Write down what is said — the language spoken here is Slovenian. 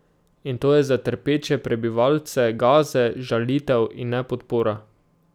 In to je za trpeče prebivalce Gaze žalitev, in ne podpora.